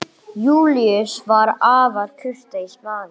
Júlíus var afar kurteis maður.